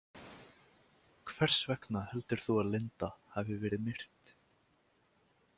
Hvers vegna heldur þú að Linda hafi verið myrt?